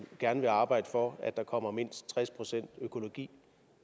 gerne ville arbejde for at der kommer mindst tres procent økologi